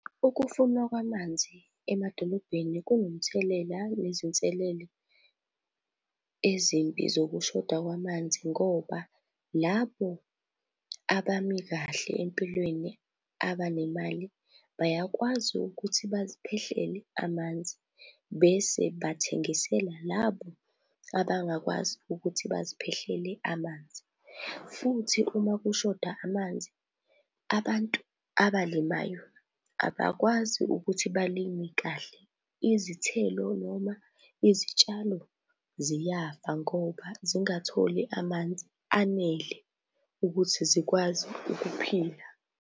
Ukufunwa kwamanzi emadolobheni kungumthelela wezinselelo ezimbi zokushoda kwamanzi ngoba labo abami kahle empilweni, abanemali, bayakwazi ukuthi baziphehlele amanzi bese bathengisela labo abangakwazi ukuthi baziphehlele amanzi. Futhi uma kushoda amanzi, abantu abalimayo abakwazi ukuthi balime kahle izithelo noma izitshalo ziyafa ngoba zingatholi amanzi anele ukuthi zikwazi ukuphila.